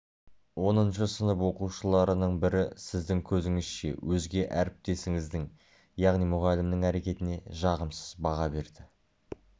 оныншы сынып оқушыларының бірі сіздің көзіңізше өзге әріптесіңіздің яғни мұғалімнің әрекетіне жағымсыз баға берді